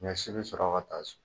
Ɲɔsi be sɔrɔ ka taa so